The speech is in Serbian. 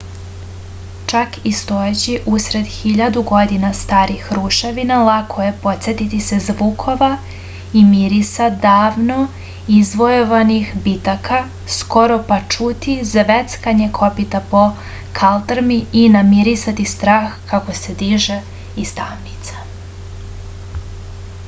čak i stojeći usred hiljadu godina starih ruševina lako je podsetiti se zvukova i mirisa davno izvojevanih bitaka skoro pa čuti zveckanje kopita po kaldrmi i namirisati strah kako se diže iz tamnica